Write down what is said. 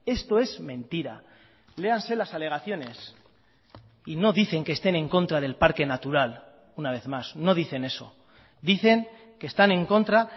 esto es mentira léanse las alegaciones y no dicen que estén en contra del parque natural una vez más no dicen eso dicen que están en contra